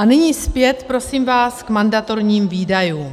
A nyní zpět, prosím vás, k mandatorním výdajům.